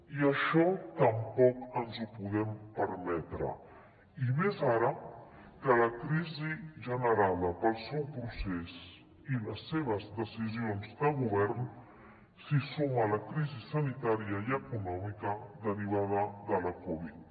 i això tampoc ens ho podem permetre i més ara que a la crisi generada pel seu procés i les seves decisions de govern s’hi suma la crisi sanitària i econòmica derivada de la covid